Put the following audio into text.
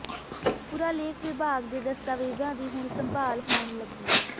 ਪੁਰਾਲੇਖ ਵਿਭਾਗ ਦੇ ਦਸਤਾਵੇਜ਼ਾਂ ਦੀ ਹੁਣ ਸੰਭਾਲ ਹੋਣ ਲੱਗੀ